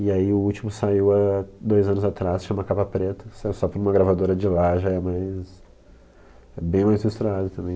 E aí o último saiu dois anos atrás, chama Capa Preta, saiu só por uma gravadora de lá, já é mais, é bem mais misturado também.